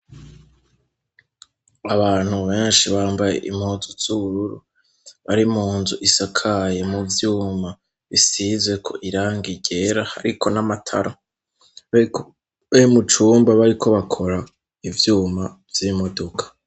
Abantu benshi bambaye impuzu z'ubururu, bari mu nzu isakaye mu vyuma bisizweko irangi ryera hariko n'amatara, bari mucumba bariko bakora ivyuma vy'imodoka.